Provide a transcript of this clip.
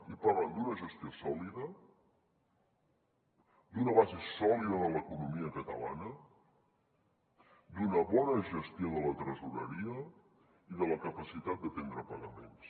i parlen d’una gestió sòlida d’una base sòlida de l’economia catalana d’una bona gestió de la tresoreria i de la capacitat d’atendre pagaments